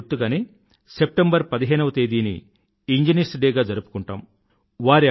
వారి గుర్తుగానే సెప్టెంబర్ పదిహేనవ తేదీని ఇంజనీర్స్ డే గా జరుపుకుంటాము